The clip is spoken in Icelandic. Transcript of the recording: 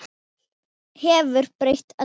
Köln hefur breytt öllu.